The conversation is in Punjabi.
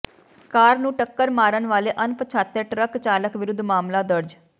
ਕਾਰ ਨੂੰ ਟੱਕਰ ਮਾਰਨ ਵਾਲੇ ਅਣਪਛਾਤੇ ਟਰੱਕ ਚਾਲਕ ਵਿਰੁੱਧ ਮਾਮਲਾ ਦਰਜ